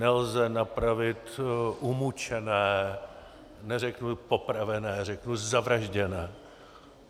Nelze napravit umučené, neřeknu popravené, řeknu zavražděné.